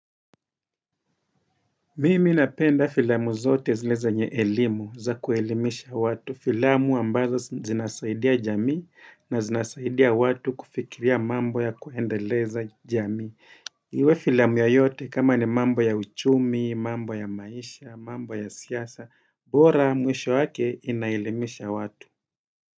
Mimi napenda filamu zote zile zenye elimu za kuelimisha watu, filamu ambazo zinasaidia jamii na zinasaidia watu kufikiria mambo ya kuendeleza jamii. Iwe filamu ya yote kama ni mambo ya uchumi, mambo ya maisha, mambo ya siasa, bora mwisho wake inaelimisha watu.